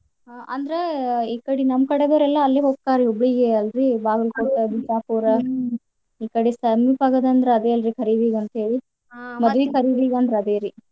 ಅ ಅಂದ್ರ ಈ ಕಡಿ ನಮ್ ಕಡೆದರ್ ಎಲ್ಲ ಅಲ್ಲೆ ಹೋಗ್ತಾರೀ ಹುಬ್ಳಿಗೆ ಅಲ್ರೀ ಬಾಗಲ್ಕೋಟೆ ಈ ಕಡೆ ಸಮೀಪ ಆಗೋದಂದ್ರ ಅದೆ ಅಲ್ರೀ ಖರೀದಿಗ್ ಅಂತೇಳಿ ಮದ್ವಿ ಖರೀದಿಗ ಅಂದ್ರ ಅದೆ ರೀ.